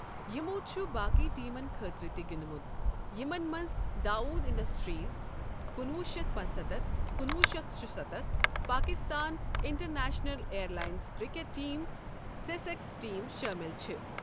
یِمو چھُ باقی ٹیٖمَن خٲطرٕ تہِ گِنٛدمُت یِمَن مَنٛز داوود اِنڈسٹریز ۱۹۷۵،۱۹۷۶ ، Pakistan international air lines cricket team, Sussex team شٲمِل چھِ